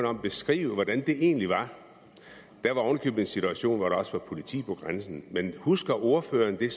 om at beskrive hvordan det egentlig var ovenikøbet i en situation hvor der også var politi ved grænsen husker ordføreren det